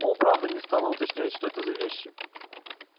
он правда не стала уточнять что это за вещи